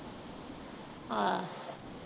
ਆਹ